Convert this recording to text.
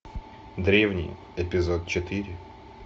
древние эпизод четыре